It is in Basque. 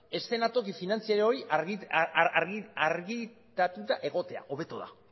eszenatoki finantzario hori argiztatuta egotea hobeto da